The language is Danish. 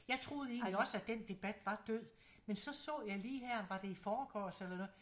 Jeg troede egentlig også at den debat var død men så så jeg lige her var det i forgårs eller noget